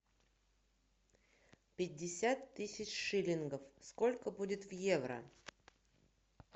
пятьдесят тысяч шиллингов сколько будет в евро